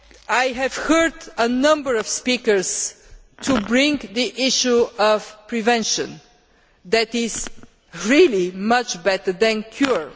I have heard a number of speakers raise the issue of prevention, which is really much better than cure.